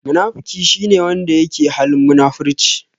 Munafiki shi ne wanda yake halin munafurci.